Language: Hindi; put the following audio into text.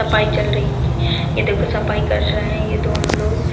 सफाई चल रही है उनकी ये देखो सफाई कर रहे हैं ये दोनों लोग।